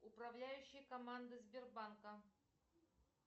управляющая команда сбербанка